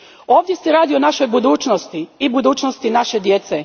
Ovdje se radi o našoj budućnosti i budućnosti naše djece.